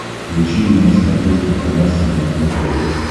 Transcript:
включи мне на смотрешке канал синергия тв